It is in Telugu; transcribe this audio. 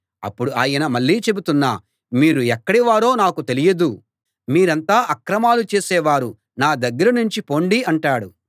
అప్పుడు ఆయన మళ్ళీ చెబుతున్నా మీరు ఎక్కడి వారో నాకు తెలియదు మీరంతా అక్రమాలు చేసేవారు నా దగ్గరనుంచి పొండి అంటాడు